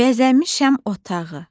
Bəzəmişəm otağı.